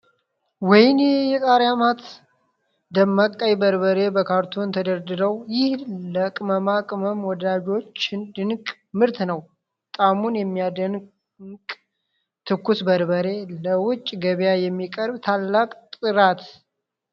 ወይኔ የቃሪያ መአት! ደማቅ ቀይ በርበሬ በካርቶን ተደርድሮ! ይህ ለቅመማ ቅመም ወዳጆች ድንቅ ምርት ነው! ጣዕሙን የሚያደምቅ ትኩስ በርበሬ! ለውጭ ገበያ የሚቀርብ ታላቅ ጥራት!